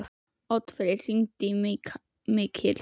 Oddfreyr, hringdu í Mikil.